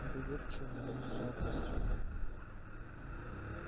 недоверчиво но с жадностью